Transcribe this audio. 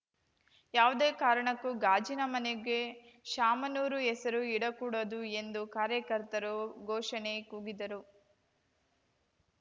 ಯಾವುದೇ ಕಾರಣಕ್ಕೂ ಗಾಜಿನ ಮನೆಗೆ ಶಾಮನೂರು ಹೆಸರು ಇಡಕೂಡದು ಎಂದು ಕಾರ್ಯಕರ್ತರು ಘೋಷಣೆ ಕೂಗಿದರು